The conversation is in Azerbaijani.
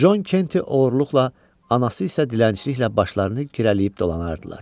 Con Kenti oğurluqla, anası isə dilənçiliklə başlarını girələyib dolanardılar.